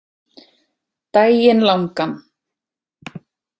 Daginn langan.